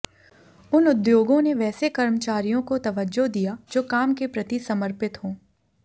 उन उद्योगों ने वैसे कर्मचारियों को तवज्जो दिया जो काम के प्रति समर्पित हों